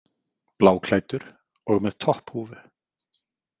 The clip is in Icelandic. Bláklæddur og með topphúfu.